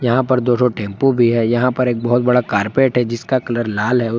यहाँ पर दो रो टेम्पू भी है यहाँ पर बहुत बड़ा कार्पेट है जिसका कलर लाल है।